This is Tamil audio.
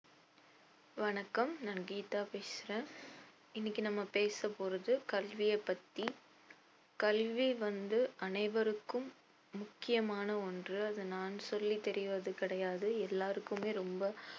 வணக்கம் நான் கீதா பேசுறேன் இன்னைக்கு நம்ம பேசப்போறது கல்வியப் பத்தி கல்வி வந்து அனைவருக்கும் முக்கியமான ஒன்று அது நான் சொல்லித் தெரிவது கிடையாது எல்லாருக்குமே ரொம்ப